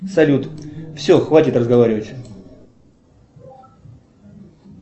салют все хватит разговаривать